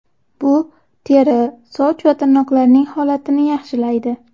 Bu teri, soch va tirnoqlarning holatini yaxshilaydi.